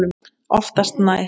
Oftast nær